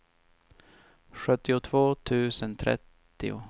sjuttiotvå tusen trettio